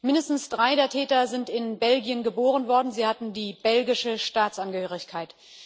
Mindestens drei der Täter sind in Belgien geboren worden, sie hatten die belgische Staatsangehörigkeit.